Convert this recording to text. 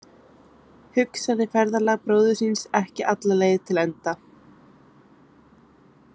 Hugsaði ferðalag bróður síns ekki alla leið til enda.